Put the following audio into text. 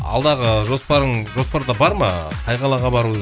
алдағы жоспарың жоспарда бар ма қай қалаға бару